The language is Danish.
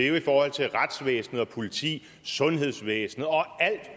jo i forhold til retsvæsenet politiet sundhedsvæsenet og alt